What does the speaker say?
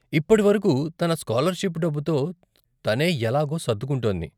ఇప్పడి వరకు తన స్కాలర్షిప్ డబ్బుతో తనే ఎలాగో సర్దుకుంటోంది.